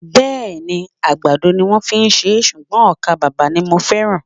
Bẹ́ẹ̀ni, àgbàdo ni wón fi ṣé ṣùgbọ́n ọkà bàbà ni mo feran